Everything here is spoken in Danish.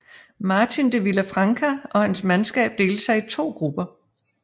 Martin de Villafranca og hans mandskab delte sig i to grupper